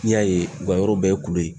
N'i y'a ye u ka yɔrɔ bɛɛ ye kulu ye